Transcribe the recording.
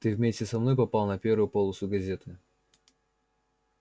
ты вместе со мной попал на первую полосу газеты